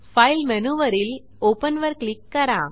file मेनूवरील open वर click करा